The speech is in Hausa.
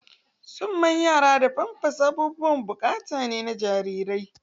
Summan yara da pampas abubuwan bukatu ne ga jarirai.